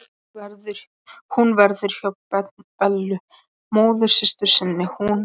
Hún verður hjá Bellu móðursystur sinni, hún.